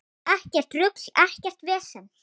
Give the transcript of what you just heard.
Ekkert rugl, ekkert vesen.